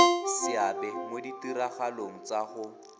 seabe mo ditiragalong tsa go